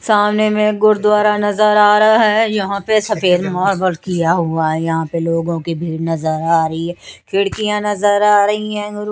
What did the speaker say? नजर आ रहा है यहा पे सफ़ेद किया हुआ है यहा पर लोगो की भीड़ नजर आ रही है खिडकिया नजर आ रही है उरु--